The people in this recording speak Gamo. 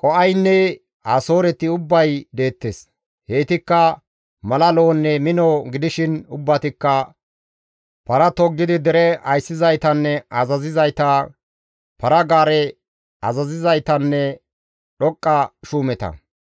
Qo7aynne Asooreti ubbay deettes; heytikka mala lo7onne mino gidishin ubbatikka para toggidi dere ayssizaytanne azazizayta, para-gaare azazizaytanne dhoqqa shuumeta.